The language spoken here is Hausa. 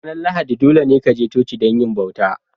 Ranar Lahadi dolene ka je coci don yi bauta.